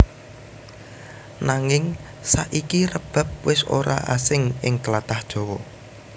Nanging saiki rebab wis ora asing ing tlatah Jawa